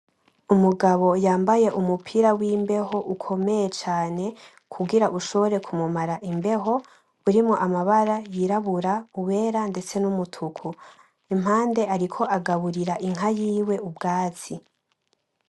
Umugabo yambaye umupira w'imbeho ukomeye cane kugira ushobore kumumara imbeho, urimwo amabara yirabura, uwera, ndetse n'umutuku. Impande ariko agaburira inka yiwe ubwatsi.